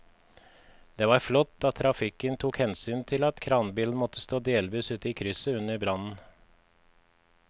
Det var flott at trafikken tok hensyn til at kranbilen måtte stå delvis ute i krysset under brannen.